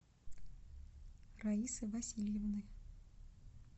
раисы васильевны